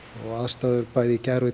og aðstæður í